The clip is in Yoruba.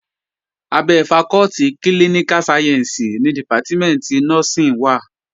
Abẹ́ fakọ́tì klíníká sayẹ̀nsì ni dìpátímẹ̀ntì nọ́ọ́sìn wà